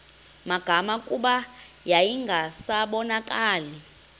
magama kuba yayingasabonakali